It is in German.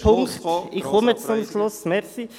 Ja, ich komme zum Schluss.